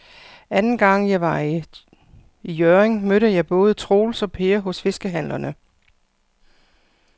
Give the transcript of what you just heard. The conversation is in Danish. Anden gang jeg var i Hjørring, mødte jeg både Troels og Per hos fiskehandlerne.